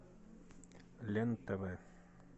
лен тв